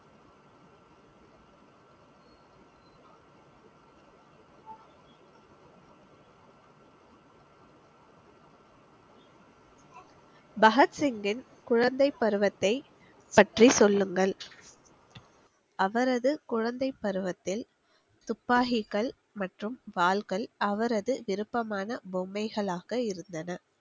பகத்சிங்கின் குழந்தை பருவத்தை பற்றி சொல்லுங்கள், அவரது குழந்தைப் பருவத்தில் துப்பாக்கிகள் மற்றும் வாள்கள் அவரது விருப்பமான பொம்மைகளாக இருந்தன